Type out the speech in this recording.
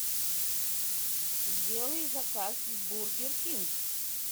сделай заказ в бургер кинг